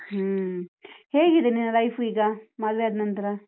ಹ್ಮ್, ಹೇಗಿದೆ ನಿನ್ನ life ಈಗ, ಮದ್ವೆ ಆದ್ನನ್ತ್ರ?